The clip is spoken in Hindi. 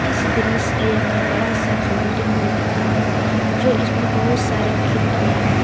इस दृश्य में बड़ा सा बिल्डिंग दिख रहा है जो इसमें बहुत सारे खिड़कियां है।